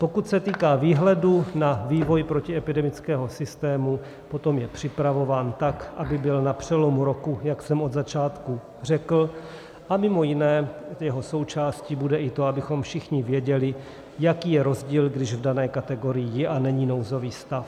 Pokud se týká výhledu na vývoj protiepidemického systému, potom je připravován tak, aby byl na přelomu roku, jak jsem od začátku řekl, a mimo jiné jeho součástí bude i to, abychom všichni věděli, jaký je rozdíl, když v dané kategorii je a není nouzový stav.